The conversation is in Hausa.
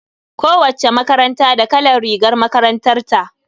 Kowacce makaranta da kalan rigar makarantar ta.